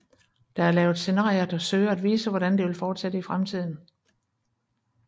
Der er lavet scenarier der søger at vise hvordan det vil fortsætte i fremtiden